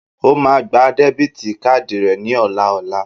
O máa gba debiti kaadi rẹ ní ọ̀la ọla.!